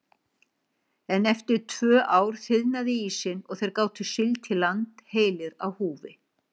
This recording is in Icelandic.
En eftir tvö ár þiðnaði ísinn og þeir gátu siglt í land heilir á húfi.